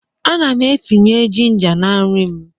Ana m etinye ginger na nri m